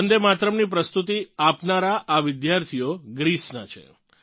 વન્દે માતરમની પ્રસ્તુતિ આપનારા આ વિદ્યાર્થીઓ ગ્રીસનાં છે